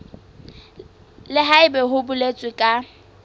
le haebe ho boletswe ka